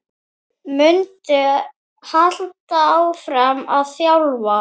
Muntu halda áfram að þjálfa?